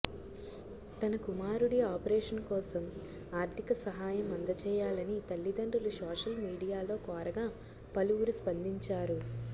తన కుమారుడి ఆపరేషన్ కోసం ఆర్థిక సహాయం అందజేయాలని తల్లిదండ్రులు సోషల్ మీడియా లో కోరగా పలువురు స్పందించారు